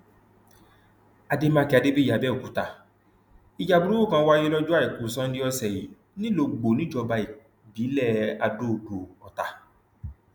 àdèmàkè adébíyí abẹọkúta ìjà burúkú kan wáyé lọjọ àìkú sannda ọsẹ yìí nìlọgbọ níjọba ìbílẹ adóodò ọtá